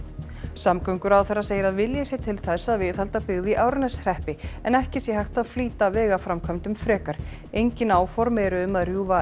samgönguráðherra segir að vilji sé til að viðhalda byggð í Árneshreppi en ekki sé hægt að flýta vegaframkvæmdum frekar engin áform eru um að rjúfa